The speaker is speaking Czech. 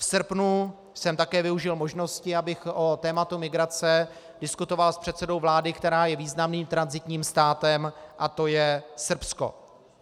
V srpnu jsem také využil možnosti, abych o tématu migrace diskutoval s předsedou vlády, která je významným tranzitním státem, a to je Srbsko.